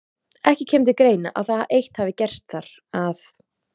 Ekki kemur til greina, að það eitt hafi gerst þar, að